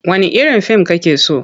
Wanne irin fim kake so?